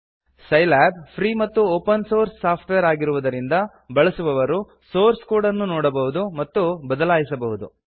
Scilab free ಮತ್ತು open source software ಆಗಿರುವುದರಿಂದ ಬಳಸುವವರು ಸೋರ್ಸ್ ಕೋಡ್ ನ್ನು ನೊಡಬಹುದು ಮತ್ತು ಬದಲಾಯಿಸಬಹುದು